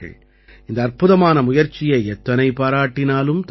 இந்த அற்புதமான முயற்சியை எத்தனை பாராட்டினாலும் தகும்